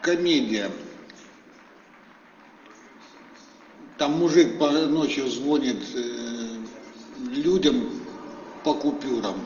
комедия там мужик ночью звонит людям по купюрам